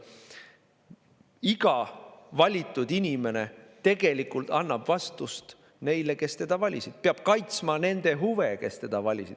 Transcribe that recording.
Iga valitud inimene annab vastust neile, kes teda valisid, ta peab kaitsma nende huve, kes teda valisid.